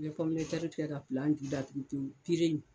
I bɛ kɛ ka ju datugu pewu